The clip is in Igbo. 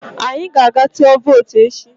Anyị ga-aga tụọ vootu echi